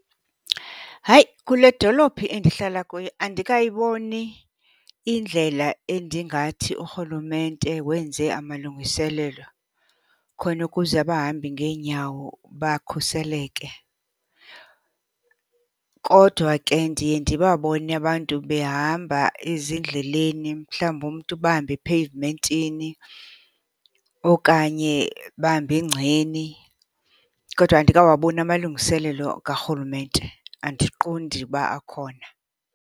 Hayi, kule dolophi endihlala kuyo andikayiboni indlela endingathi urhulumente wenze amalungiselelo khona ukuze abahambi ngeenyawo bakhuseleke. Kodwa ke ndiye ndibabone abantu behamba ezindleleni, mhlawumbi umntu bahambe epheyivumentini okanye bahambe engceni. Kodwa andikawaboni amalungiselelo karhulumente, andiqondi uba akhona.